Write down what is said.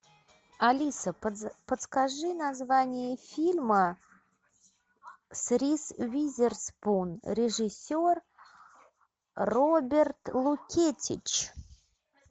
алиса подскажи название фильма с риз уизерспун режиссер роберт лукетич